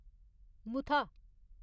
Mutha